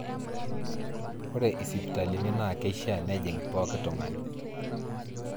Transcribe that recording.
Ore isipitalini naa kieshiaa nejing pooki tung'ani.